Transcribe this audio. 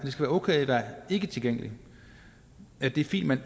okay at være ikketilgængelig at det er fint man